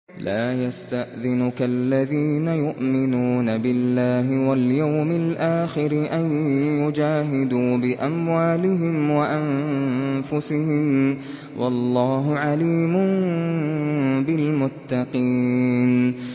لَا يَسْتَأْذِنُكَ الَّذِينَ يُؤْمِنُونَ بِاللَّهِ وَالْيَوْمِ الْآخِرِ أَن يُجَاهِدُوا بِأَمْوَالِهِمْ وَأَنفُسِهِمْ ۗ وَاللَّهُ عَلِيمٌ بِالْمُتَّقِينَ